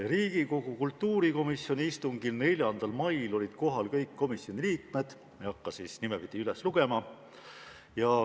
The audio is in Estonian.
Riigikogu kultuurikomisjoni istungil 4. mail olid kohal kõik komisjoni liikmed, ma ei hakka neid nimepidi üles lugema.